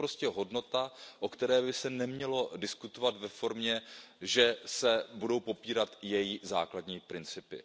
To je prostě hodnota, o které by se nemělo diskutovat ve formě, že se budou popírat její základní principy.